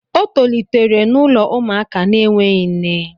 O tolitere n'ụlọ ụmụaka na-enweghị nne